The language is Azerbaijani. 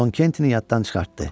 Con Kenti yaddan çıxartdı.